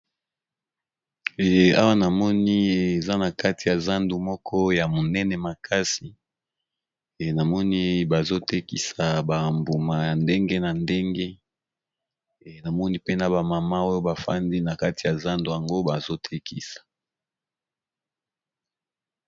Awa namoni eza na kati ya zandu moko ya minene makasi namoni bazo tekisa ba mbuma ya ndenge na ndenge pe namoni pena ba mama oyo bafandi na kati ya zandu yango bazo tekisa.